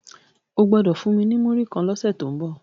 O gbodo fún mí ní Muri kán lọ se to ńbo!